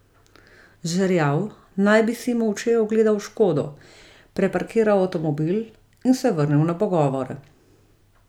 Žerjav naj bi si molče ogledal škodo, preparkiral avtomobil in se vrnil na pogovore.